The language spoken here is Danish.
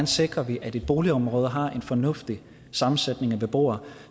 sikrer at et boligområde har en fornuftig sammensætning af beboere